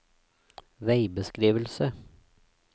veibeskrivelse